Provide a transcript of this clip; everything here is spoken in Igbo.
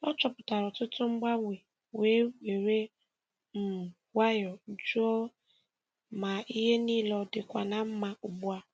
Ọ chọpụtara ọtụtụ mgbanwe wee were um nwayọọ jụọ ma ihe niile ọ dịkwa na mma ugbu a.